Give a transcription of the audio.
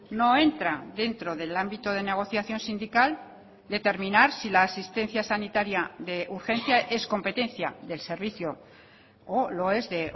no entra dentro del ámbito de negociación sindical determinar si la asistencia sanitaria de urgencia es competencia del servicio o lo es de